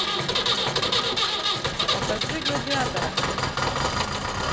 покажи гладиатора